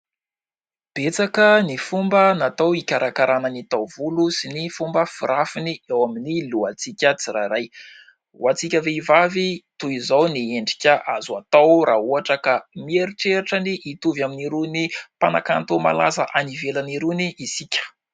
Betsaka ny fomba natao hikarakarana ny taovolo sy ny fomba firafiny eo amin'ny lohantsika tsirairay. Ho antsika vehivavy, toy izao ny endrika azo atao raha ohatra ka mieritreritra ny hitovy amin'irony mpanakanto malaza any ivelany irony isika.